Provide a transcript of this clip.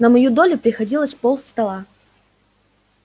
на мою долю приходилось полстола